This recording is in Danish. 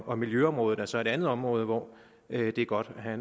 og miljøområdet er så et andet område hvor det er godt at